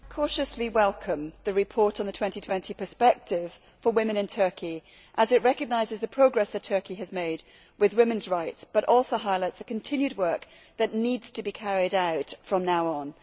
Mr President, I cautiously welcome the report on the 2020 perspective for women in Turkey as it recognises the progress that Turkey has made in women's rights and it also highlights the continued work that needs to be carried out from now on.